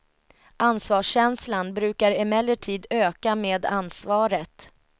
Ansvarskänslan brukar emellertid öka med ansvaret.